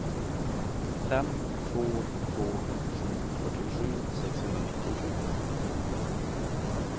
fem två två sju fyrtiosju sexhundranittiosju